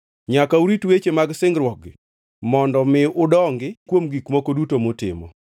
Nyaka urit weche mag singruokgi mondo mi udongi kuom gik moko duto mutimo.